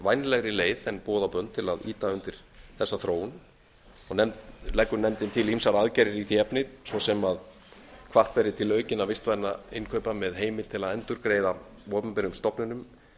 vænlegri leið en boð og bönn til að ýta undir þessa þróun og leggur nefndin til ýmsar aðgerðir í því efni svo sem að hvatt verði til aukinna vistvænna innkaupa með heimild til endurgreiða opinberum stofnunum